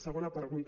segona pregunta